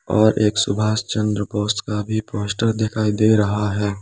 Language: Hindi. और एक सुभाष चंद्र बोस का भी पोस्टर दिखाई दे रहा है।